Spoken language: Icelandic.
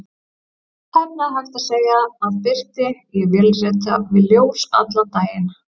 Tæplega hægt að segja að birti: ég vélrita við ljós allan daginn.